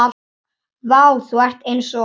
Vá, þú ert eins og.